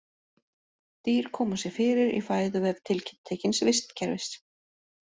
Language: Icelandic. Dýr koma sér fyrir í fæðuvef tiltekins vistkerfis.